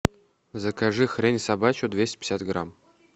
закажи хрень собачью двести пятьдесят грамм